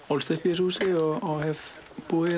ólst upp í þessu húsi og hef búið